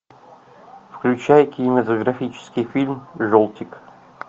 включай кинематографический фильм желтик